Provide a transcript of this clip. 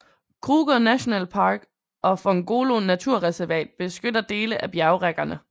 Kruger Nationalpark og Phongolo Naturreservat beskytter dele af bjergrækkerne